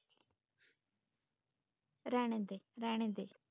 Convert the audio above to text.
रहने दे रहने दे।